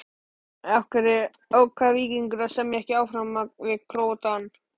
Af hverju ákvað Víkingur að semja ekki áfram við Króatann?